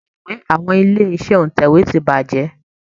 Ẹ̀rọ Atẹ̀wé àwọn ilé-iṣẹ́ ìtẹ̀wé ti bàjẹ́